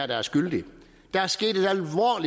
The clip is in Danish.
der er skyldig der er sket